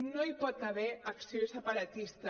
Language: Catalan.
no hi pot haver acció separatista